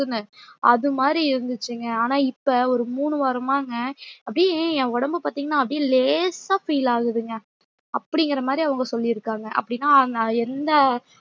அதுமாறி இருந்துச்சுங்க ஆனா இப்ப ஒரு மூணு வாரமாங்க அப்டியே என் ஒடம்ப பாத்திங்கன்ன அப்டியே லேசா feel ஆகுதுங்க அப்டிங்கிரமாறி அவங்க சொல்லிருக்காங்க அப்டின அவங்க எந்த